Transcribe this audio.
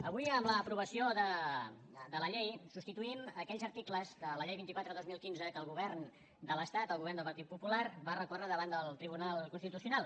avui amb l’aprovació de la llei substituïm aquells articles de la llei vint quatre dos mil quinze que el govern de l’estat el govern del partit popular va recórrer davant del tribunal constitucional